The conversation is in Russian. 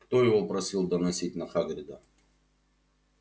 кто его просил доносить на хагрида